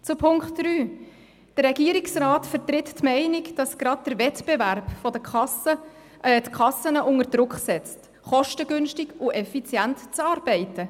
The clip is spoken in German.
Zu Punkt 3: Der Regierungsrat vertritt die Meinung, dass gerade der Wettbewerb der Kassen die Kassen unter Druck setzt, kostengünstig und effizient zu arbeiten.